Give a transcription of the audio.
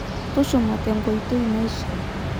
Tushuma tenkoitoi naishiaa.